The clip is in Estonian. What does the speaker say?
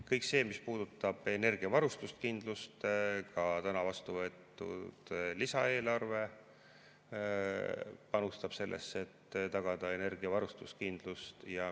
Kõik see, mis puudutab energiavarustuskindlust, ka täna vastu võetud lisaeelarve panustab sellesse, et tagada energiavarustuskindlust.